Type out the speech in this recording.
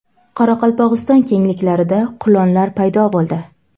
Qoraqalpog‘iston kengliklarida qulonlar paydo bo‘ldi .